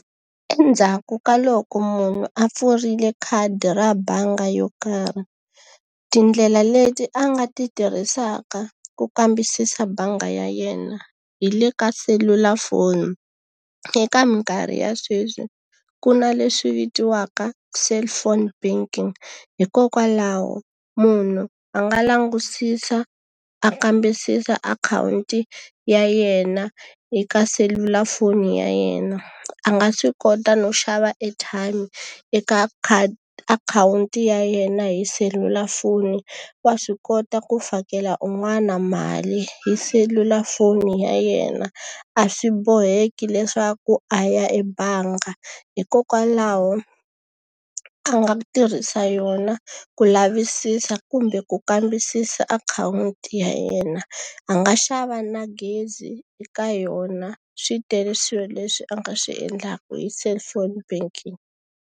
Endzhaku ka loko munhu a pfurile khadi ra bangi yo karhi, tindlela leti a nga ti tirhisaka ku kambisisa bangi ya yena hi le ka selulafoni. Eka minkarhi ya sweswi ku na leswi vitiwaka cellphone banking, hikokwalaho munhu a nga langutisa, a kambisisa akhawunti ya yena eka selulafoni ya yena. A nga swi kota no xava airtime eka akhawunti ya yena hi selulafoni, wa swi kota ku fakela un'wana mali hi selulafoni ya yena, a swi boheki leswaku a ya ebangi. Hikokwalaho a nga tirhisa yona ku lavisisa kumbe ku kambisisa akhawunti ya yena. A nga xava na gezi eka yona. Swi tele swilo leswi a nga swi endlaka hi cellphone banking.